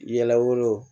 Yɛlɛw